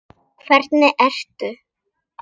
Hvernig ertu?